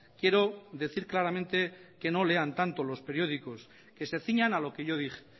quiero decir claramente que no lean tanto los periódicos que se ciñan a lo que yo dije